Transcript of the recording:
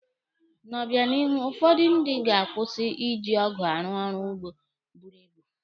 N'obịanihu, ụfọdụ ndị ga-akwụsị iji ọgụ arụ ọrụ ugbo buru ibu.